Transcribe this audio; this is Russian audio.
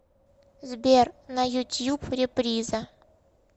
сбер на ютьюб реприза